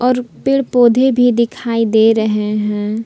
पेड़ पौधे भी दिखाई दे रहे हैं।